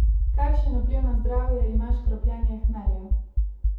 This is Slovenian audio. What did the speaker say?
Kakšen vpliv na zdravje ima škropljenje hmelja?